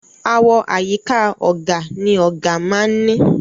Àwo àyíká ọ̀gà ni ọ̀gà máa ń ní.